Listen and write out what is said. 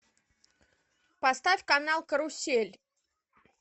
поставь канал карусель